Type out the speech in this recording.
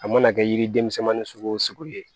A mana kɛ yiri denmisɛnnin ni sugu wo sugu ye